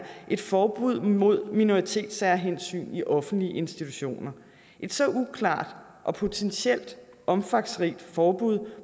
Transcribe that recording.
et forbud mod minoritetssærhensyn i offentlige institutioner et så uklart og potentielt omfangsrigt forbud